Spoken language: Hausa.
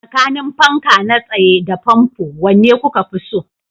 Tsakanin fanka na tsaye da fanfo, wanne kuka fi so?